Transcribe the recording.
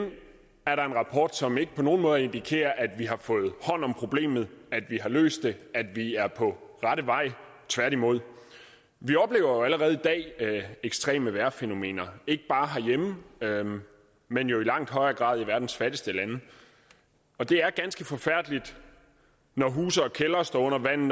er der en rapport som ikke på nogen måde indikerer at vi har fået hånd om problemet at vi har løst det at vi er på rette vej tværtimod vi oplever jo allerede i dag ekstreme vejrfænomener ikke bare herhjemme men jo i langt højere grad i verdens fattigste lande og det er ganske forfærdeligt når huse og kældre står under vand